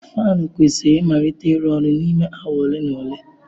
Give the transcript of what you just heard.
Fanụ kwesịrị ịmalite ịrụ ọrụ n'ime awa ole na ole.